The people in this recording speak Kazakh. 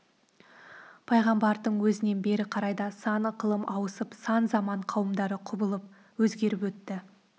пайғамбардың өзінен бері қарай да сан ықылым ауысып сан заман қауымдары құбылып өзгеріп өтті